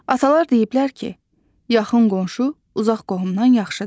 Atalar deyiblər ki, yaxın qonşu uzaq qohumdan yaxşıdır.